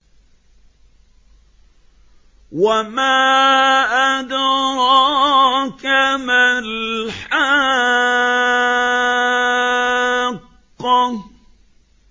وَمَا أَدْرَاكَ مَا الْحَاقَّةُ